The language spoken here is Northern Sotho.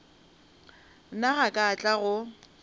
nna ga ka tla go